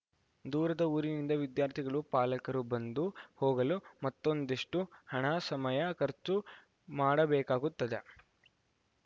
ದೂರದ ಊರಿನಿಂದ ವಿದ್ಯಾರ್ಥಿಗಳು ಪಾಲಕರು ಬಂದು ಹೋಗಲು ಮತ್ತೊಂದಿಷ್ಟುಹಣ ಸಮಯ ಖರ್ಚು ಮಾಡಬೇಕಾಗುತ್ತದೆ